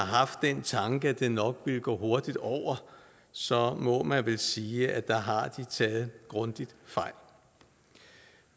har haft den tanke at det nok ville gå hurtigt over så må man vel sige at der har de taget grundig fejl